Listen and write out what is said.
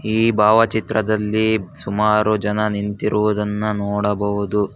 ಈ ಭಾವಚಿತ್ರದಲ್ಲಿ ಸುಮಾರು ಜನ ನಿಂತಿರುವುದನ್ನ ನೋಡಬಹುದು.